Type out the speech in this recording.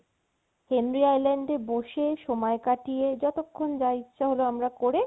Henry island এ বসে সময় কাটিয়ে যতক্ষণ যা ইচ্ছে হলো আমরা করে